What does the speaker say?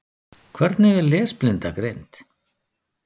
Hvernig er lesblinda greind?